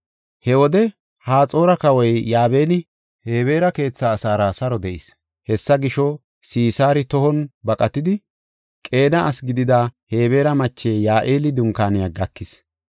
He wode Haxoora kawoy Yaabini Hebeera keethaa asaara saro de7ees. Hessa gisho, Sisaari tohon baqatidi, Qeena asi gidida Hebeera mache Ya7eeli dunkaaniya gakis.